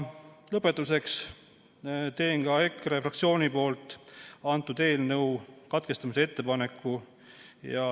Lõpetuseks teen EKRE fraktsiooni nimel selle eelnõu lugemise katkestamise ettepaneku.